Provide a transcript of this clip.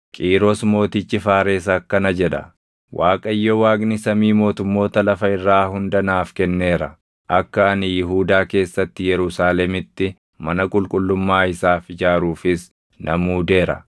“Qiiros mootichi Faares akkana jedha: “‘ Waaqayyo Waaqni samii mootummoota lafa irraa hunda naaf kenneera; akka ani Yihuudaa keessatti Yerusaalemitti mana qulqullummaa isaaf ijaaruufis na muudeera.